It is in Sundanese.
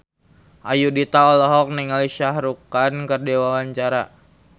Ayudhita olohok ningali Shah Rukh Khan keur diwawancara